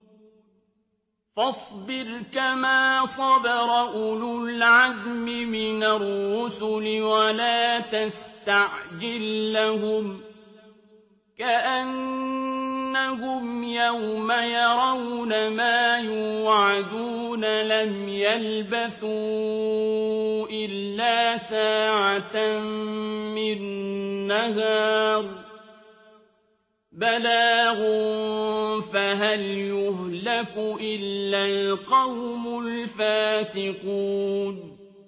فَاصْبِرْ كَمَا صَبَرَ أُولُو الْعَزْمِ مِنَ الرُّسُلِ وَلَا تَسْتَعْجِل لَّهُمْ ۚ كَأَنَّهُمْ يَوْمَ يَرَوْنَ مَا يُوعَدُونَ لَمْ يَلْبَثُوا إِلَّا سَاعَةً مِّن نَّهَارٍ ۚ بَلَاغٌ ۚ فَهَلْ يُهْلَكُ إِلَّا الْقَوْمُ الْفَاسِقُونَ